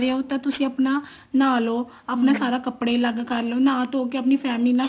ਤੇ ਤੁਸੀਂ ਆਪਣਾ ਨਹਾ ਲੋ ਆਪਣਾ ਸਾਰੇ ਕੱਪੜੇ ਅਲੱਗ ਕਰ ਲੋ ਨਹਾ ਧੋ ਕੇ ਪਾਣੀ family ਨਾਲ